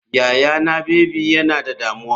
Yayana baby yana da damuwa.